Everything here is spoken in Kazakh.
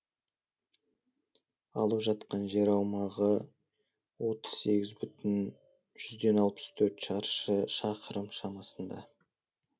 алып жатқан жер аумағы отыз сегіз бүтін жүзден алпыс төрт шаршы шақырым шамасында